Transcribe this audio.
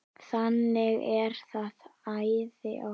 Þannig er það æði oft.